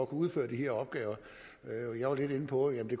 udføre de her opgaver jeg var lidt inde på at vi